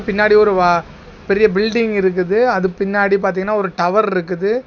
பின்னாடி ஒருவா பெரிய பில்டிங் இருக்குது அது பின்னாடி பாத்தீங்கன்னா ஒரு டவர் இருக்குது.